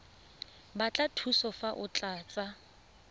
batla thuso fa o tlatsa